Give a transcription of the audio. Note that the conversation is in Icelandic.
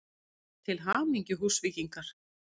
Til hamingju Húsvíkingar!!